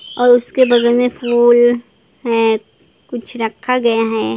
और उसके बगल मे फूल हैं कुछ रखा गया हैं ।